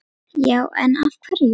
Já en. af hverju?